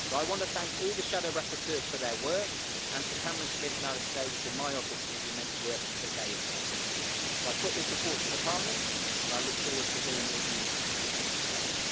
I want to thank all the shadow rapporteurs for their work. and to Cameron Smith and Alex Davis in my office for the immense work that they have done. I put this report to the Parliament and I look forward to hearing your views in today's debate.